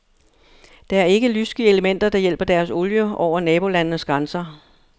Det er ikke lyssky elementer, der hjælper deres olie over nabolandenes grænser.